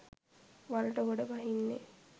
වලට ගොඩ බහින්නේ